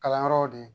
Kalanyɔrɔw de